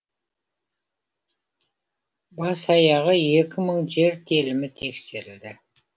бас аяғы екі мың жер телімі тексерілді